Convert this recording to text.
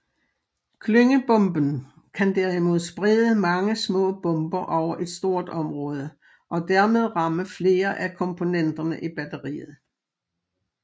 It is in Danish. Klyngebomben kan derimod sprede mange små bomber over et stort område og dermed ramme flere af komponenterne i batteriet